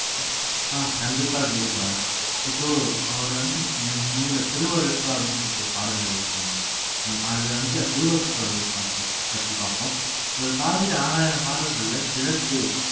அஹ் கண்டிப்பா கிரிபாலா இப்போ அவர் வந்து நீங்க சொன்னீங்கல்ல திருவருட்பா அப்படின்னு சொல்லிட்டு ஒரு பாடல் எழுதியிருக்காங்க அஹ் அதுல வந்துட்டு திருவருட்பா பார்ப்போம் பத்தி பார்ப்போம் இவர் பாடி ஆறாயிரம் பாடல்கள்ல திரட்டு